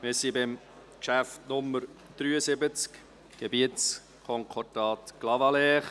Wir sind beim Traktandum 73 verblieben, Gebietsänderungskonkordat Clavaleyres.